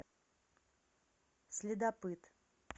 следопыт